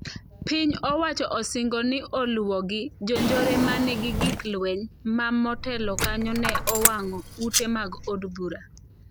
Piny owacho osingo ni oluwogi "jonjore ma nigi gik lweny" ma motelo kanyo ne owang'o ute mag od bura.